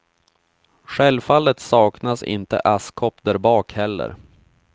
Självfallet saknas inte askkopp där bak heller.